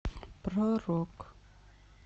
про рок